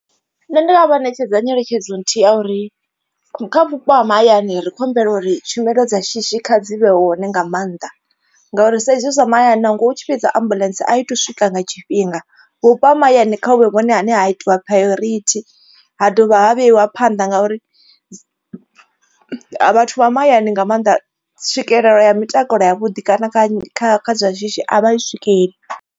Nṋe ndi nga vha ṋetshedza nyeletshedzo nthihi ya uri kha vhupo ha mahayani ri khou humbela uri tshumelo dza shishi kha dzi vhe hone nga maanḓa. Ngauri sa izwi zwa mahayani nangwe utshi vhidza ambuḽentse a i to swika nga tshifhinga. Vhupo ha mahayani kha huvhe vhone ane ha itiwa priority ha dovha ha vheiwa phanḓa ngauri vhathu vha mahayani nga maanḓa tswikelelo ya mitakalo ya vhuḓi kana kha kha kha zwa shishi a vha swikeli.